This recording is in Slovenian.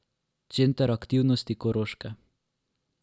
Center aktivnosti Koroške.